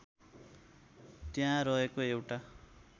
त्यहाँ रहेको एउटा